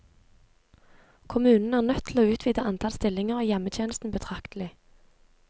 Kommunen er nødt til å utvide antall stillinger i hjemmetjenesten betraktelig.